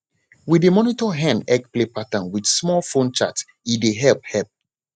we dey monitor hen egglay pattern with small phone chart e dey help help